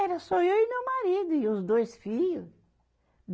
Era só eu e meu marido e os dois filho.